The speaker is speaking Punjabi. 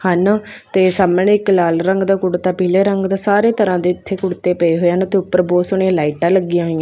ਹਨ ਤੇ ਸਾਹਮਣੇ ਇੱਕ ਲਾਲ ਰੰਗ ਦਾ ਕੁੜਤਾ ਪੀਲੇ ਰੰਗ ਦਾ ਸਾਰੇ ਤਰ੍ਹਾਂ ਦੇ ਇੱਥੇ ਕੁੜਤੇ ਪਏ ਹੋਏ ਹਨ ਮਤਲਬ ਉੱਪਰ ਬਹੁਤ ਸੋਹਣੀਆਂ ਲਾਈਟਾਂ ਲੱਗਿਆ ਹੋਈਆਂ--